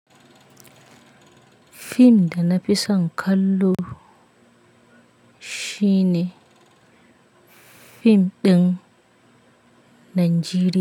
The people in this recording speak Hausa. Fim da na fi son kallo shine fim ɗin Najeriya.